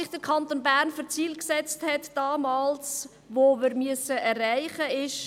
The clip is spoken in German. Der Kanton Bern hat sich damals folgende Ziele gesetzt, die wir erreichen müssen: